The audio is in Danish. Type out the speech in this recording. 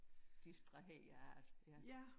Distraheret ja